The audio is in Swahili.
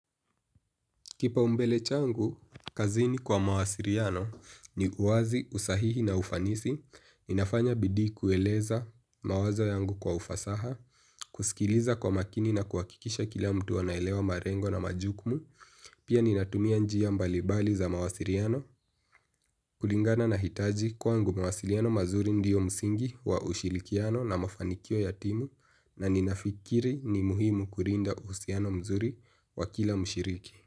Kipaombele changu, kazini kwa mawasiliano ni uwazi, usahihi na ufanisi. Ninafanya bidii kueleza mawazo yangu kwa ufasaha, kusikiliza kwa makini na kuhakikisha kila mtu anaelewa malengo na majukumu. Pia ninatumia njia mbalibali za mawasiliano, kulingana na hitaji kwangu mawasiliano mazuri ndio msingi wa ushirikiano na mafanikio ya timu na ninafikiri ni muhimu kulinda uhusiano mzuri wa kila mshiriki.